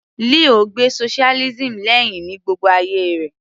Leo gbe socialism lẹ́hìn ní gbogbo ayé rẹ̀